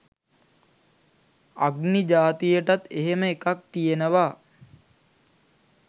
අග්නි ජාතියටත් එහෙම එකක් තියෙනවා.